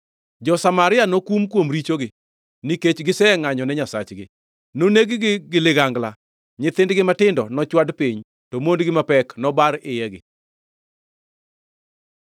Jo-Samaria nokum kuom richogi nikech gisengʼanyo ne Nyasachgi. Noneg-gi gi ligangla; nyithindgi matindo nochwad piny, to mondgi mapek nobar iyegi.”